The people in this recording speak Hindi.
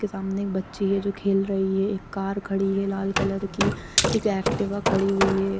इसके सामने एक बच्ची हैं जो खेल रही हैं एक कार खाड़ी है लाल कलर की एक एक्टिव खड़ी हुई है ।